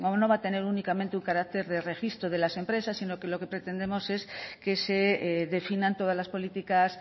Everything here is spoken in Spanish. no va a tener únicamente un carácter de registro de las empresas sino que lo que pretendemos es que se definan todas las políticas